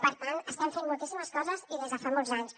per tant estem fent moltíssimes coses i des de fa molts anys